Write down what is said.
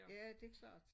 Ja det klart